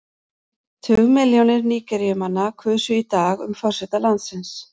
Tugmilljónir Nígeríumanna kusu í dag um forseta landsins.